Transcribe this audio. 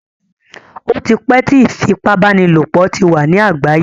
Ó ti pẹ́ tí ìfipábánilòpọ̀ ti wà ní àgbáyé.